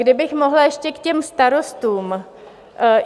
Kdybych mohla ještě k těm starostům.